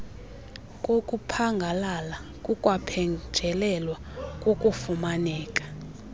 kokuphangalala kukwaphenjelelwa kukufumaneka